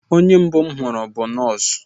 Onye mbụ m hụrụ bụ nọọsụ